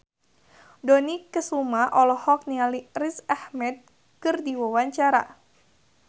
Dony Kesuma olohok ningali Riz Ahmed keur diwawancara